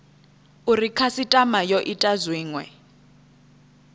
uri khasitama yo ita zwinwe